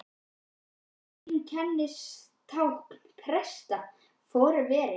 Þetta virtist vera einkennistákn presta, forveri